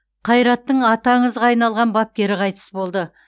қайраттың аты аңызға айналған бапкері қайтыс болды